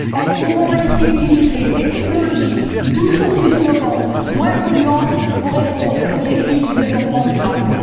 Elles pourront ainsi utiliser des technologies toujours plus innovantes et moins polluantes pour répondre aux défis du développement durable.